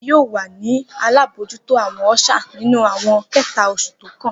Emi yoo wa ni alabojuto awọn usher ninu awọn kẹta osu tókàn.